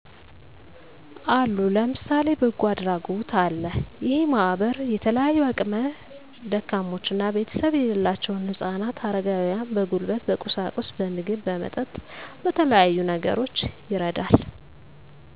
አሉ ለምሳሌ በጎ አድራጎት አለ እሄ ማህበር የተለያዩ አቅም ደካሞችና ቤተሰብ የሌላቸውን ህጻናት አረጋውያን በጉልበት በቁሳቁስ በምግብ በመጠጥ በተለያዩ ነገሮች ይረዳል